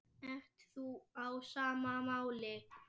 Ert þú á sama máli?